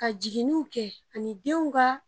Ka jiginniw kɛ ani denw ka